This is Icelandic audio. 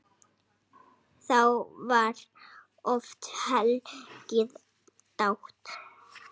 Þá var oft hlegið dátt.